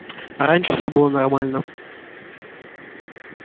а раньше всё было нормально